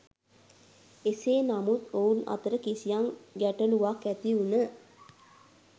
එසේ නමුත් ඔවුන් අතර කිසියම් ගැටලුවක් ඇතිවුණ